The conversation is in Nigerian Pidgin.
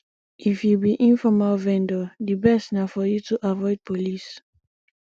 if you be informal vendor di best na for you to avoid police